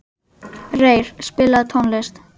Reyr, spilaðu tónlist.